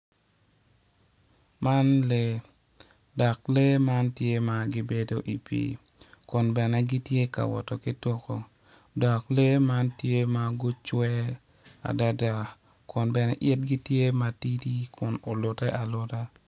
Man lee, dok lee man tye ma gibedo i pii kun bene gitye ka woto ki tuku dok lee man tye ma gucwe adada kun bene itgi tye matidi kun ulutte aluta